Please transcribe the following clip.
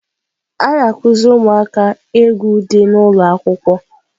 A na-akụziri ụmụaka egwu dị n'ụlọ akwụkwọ.